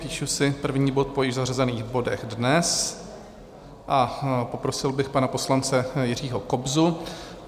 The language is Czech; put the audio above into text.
Píšu si první bod po již zařazených bodech dnes a poprosil bych pana poslance Jiřího Kobzu.